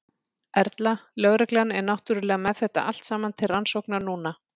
Erla: Lögreglan er náttúrulega með þetta allt saman til rannsóknar núna?